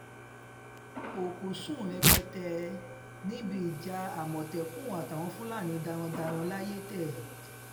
òkú sùn rẹpẹtẹ níbi ìjà àmọ̀tẹ́kùn àtàwọn fúlàní darandaran layétẹ̀